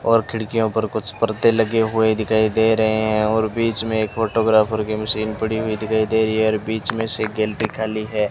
और खिड़कियों पर कुछ पर्दे लगे हुए दिखाई दे रहे हैं और बीच में एक फोटोग्राफर की मशीन पड़ी हुई दिखाई दे रही है और बीच में से गिल्टी खाली है।